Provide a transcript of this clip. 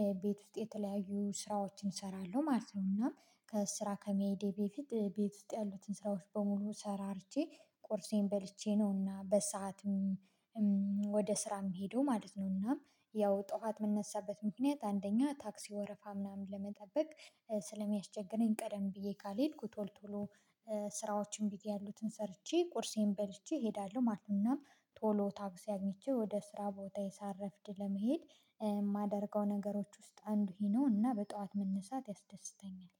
የቤት ውጤት የተለያዩ ስራዎችን እሰራለሁ ማለት ነው እና ከስራ ከመሄዴ በፊት ቤት ውስጥ ያሉትን ስራዎች በሙሉ ሰራርቼ ቁርሴን በልቼ ነውና በሰአትም ወደ ስራም የምሄደው ማለት ነው እና ያው ጠዋት የምንነሳበት ምክንያት አንደኛ ታክሲ ወረፋ ምናምን ለመጠበቅ ስለሚያስቸግረኝ ቀደም ብዬ ካልሄድኩ ቶሎ ቶሎ ስራዎችን ብዬ ያሉትን ሰርቼ ቁርሴን በልቼ እሄዳለሁ ማለት ነው እና ቶሎ ታክሲ አግኝቼ ወደ ስራ ቦታየ ሳረፍድ ለመሄድ የማደርገው ነገሮች ውስጥ አንዱ ይህ ነው እና በጧት መነሳት ያስደስተኛል።